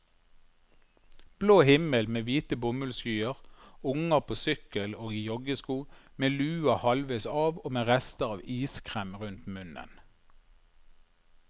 Blå himmel med hvite bomullsskyer, unger på sykkel og i joggesko, med lua halvveis av og med rester av iskrem rundt munnen.